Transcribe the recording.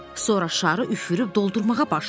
Sonra şarı üfürüb doldurmağa başladılar.